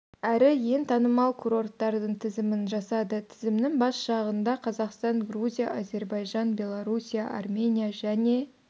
әрі ең танымал курорттардың тізімін жасады тізімнің бас жағында қазақстан грузия әзербайжан беларусия армения және